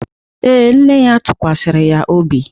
Ee, nne ya tụkwasịrị ya obi